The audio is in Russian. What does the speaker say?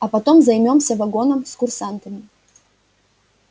а потом займёмся вагоном с курсантами